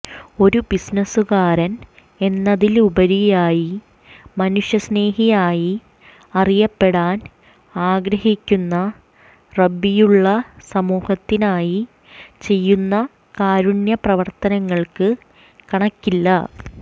ഒരു ബിസിനസ്സുകാരൻ എന്നതിലുപരിയായി മനുഷ്യസ്നേഹിയായി അറിയപ്പെടാൻ ആഗ്രഹിക്കുന്ന റബ്ബിയുള്ള സമൂഹത്തിനായി ചെയ്യുന്ന കാരുണ്യപ്രവർത്തനങ്ങൾക്ക് കണക്കില്ല